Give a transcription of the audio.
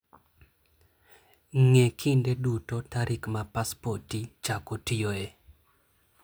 Ng'e kinde duto tarik ma paspoti chako tiyoe.